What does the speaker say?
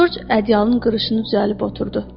Corc ədyalın qırışını düzəlib oturdu.